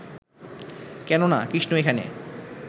কেন না, কৃষ্ণ এখানে